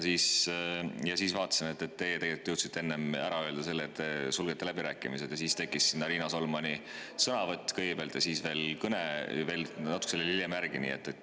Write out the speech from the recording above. Siis nägin, et teie jõudsite enne ära öelda, et te sulgete läbirääkimised, ja siis tekkis sinna kõigepealt Riina Solmani sõnavõtu ja natuke hiljem veel kõne.